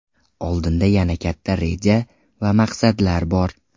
Oldinda yana katta reja va maqsadlar bor.